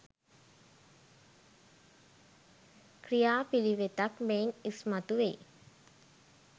ක්‍රියා පිළිවෙතක් මෙයින් ඉස්මතු වෙයි.